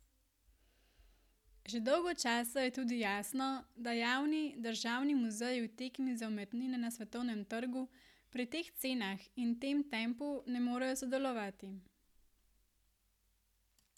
Že dolgo časa je tudi jasno, da javni, državni muzeji v tekmi za umetnine na svetovnem trgu pri teh cenah in tem tempu ne morejo sodelovati.